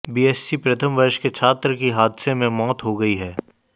BSc प्रथम वर्ष के छात्र की हादसे में मौत हो गई है